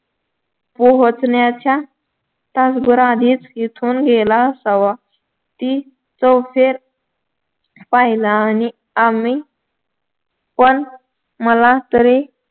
पोहोचण्याच्या तास भर आधीच इथून गेला असावा ती चौफेर पाहिला आणि आम्ही पण मला तरी